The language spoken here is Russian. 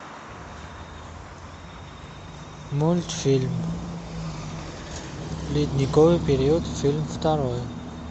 мультфильм ледниковый период фильм второй